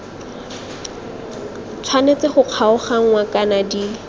tshwanetse go kgaoganngwa kana di